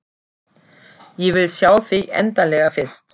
Ég vil sjá þig endanlega fyrst.